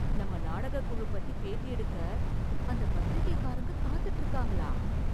நம்ம நாடகக் குழு பத்தி பேட்டி எடுக்க அந்த பத்திரிக்கைக்காரங்க காத்துட்டு இருக்காங்களா?